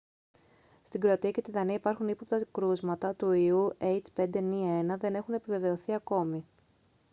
στην κροατία και τη δανία υπάρχουν ύποπτα κρούσματα του ιού h5n1 δεν έχουν επιβεβαιωθεί ακόμη